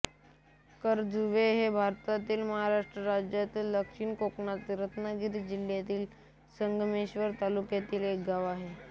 करजुवे हे भारतातील महाराष्ट्र राज्यातील दक्षिण कोकणातील रत्नागिरी जिल्ह्यातील संगमेश्वर तालुक्यातील एक गाव आहे